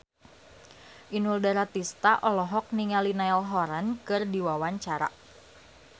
Inul Daratista olohok ningali Niall Horran keur diwawancara